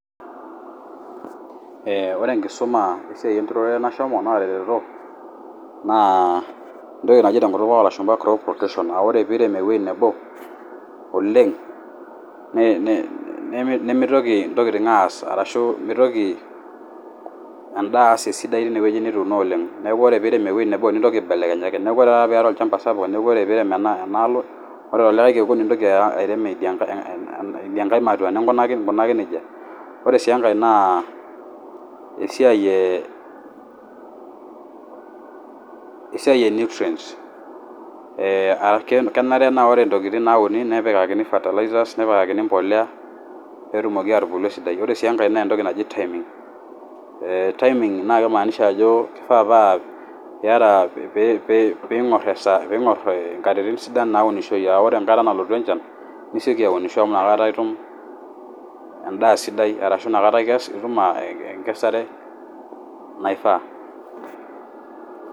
Ee ore enkishuma esiai enturore nashomo naatareto naa entoki naji tenkutuk oolashumba crop rotation aa ore piirem ewoji nebo oleng' nemitoki intokitin aas ashu nimitoki endaa aas esidai teine woji nituuno oleng', neeku ore piirem ewoji nebo nintoki aibelekenyaki, neeku ore taata piata olchamba sapuk neeku ore piirem enaalo ore tolikai kekun nintoki airem ngae matua ningunaki nejia. Ore sii enkae naa esiai ene nutrients, ee kenare naa ore intokitin naa uni nepikakani fertilizer, nepikaki mbolea peetumoki atubulu esidai. Ore sii enkae naa entoki naji timing, timing naa kimaanisha ajo kifaa piingor enkatitin sidan naaunishoi, ore enkata nalotu enjan, nisioki aunisho amu nakata itum endaa sidai ashu nakata ikesu itum engesare naifaa.